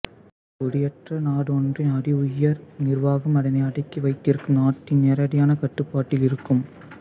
குடியேற்ற நாடொன்றின் அதி உயர் நிர்வாகம் அதனை அடக்கி வைத்திருக்கும் நாட்டின் நேரடியான கட்டுப்பாட்டில் இருக்கும்